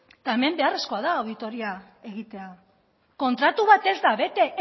eta hemen beharrezkoa da auditoria egitea kontratu bat ez da bete